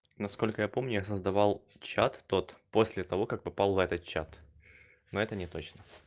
насколько я помню я создавал чат тот после того как попал в этот чат но это не точно